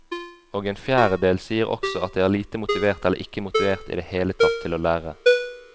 Og en fjerdedel sier også at de er lite motivert eller ikke motivert i det hele tatt til å lære.